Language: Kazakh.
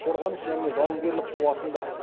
қорғаныс және жауынгерлік қуатында